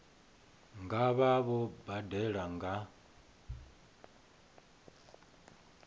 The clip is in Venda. nga vha vho badela nga